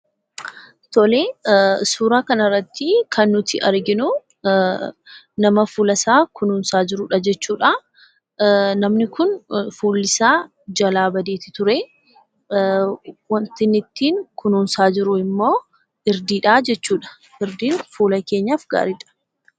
Tolee! Suuraa kanarratti kan nuti arginu, nama fuulasaa kunuunsaa jirudha jechuudha. Namni kun fuullisaa jalaa badeeti ture. Waanti inni ittiin kunuunsaa jiru immoo irdiidhaa jechuudha. Irdiin fuula keenyaaf gaariidha.